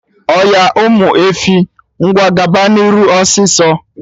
Oya, Ụmụ efi, ngwa gaba nụ n'iru, ọsịsọ!